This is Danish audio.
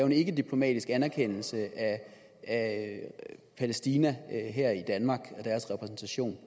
en ikkediplomatisk anerkendelse af palæstina og deres repræsentation